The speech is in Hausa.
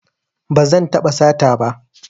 Ba zan taɓa sata ba